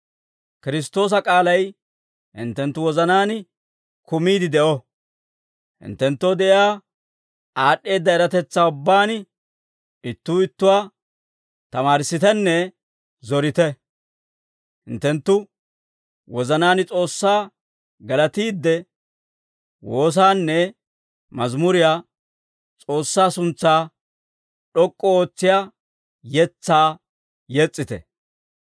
Kiristtoosa k'aalay hinttenttu wozanaan kumiide de'o; hinttenttoo de'iyaa aad'd'eedda eratetsaa ubbaan ittuu ittuwaa tamaarissitenne zorite; hinttenttu wozanaan S'oossaa galatiidde, woosaanne mazimuriyaa, S'oossaa suntsaa d'ok'k'u ootsiyaa yetsaa yes's'ite.